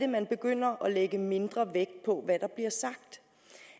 man begynder at lægge mindre vægt på hvad der bliver sagt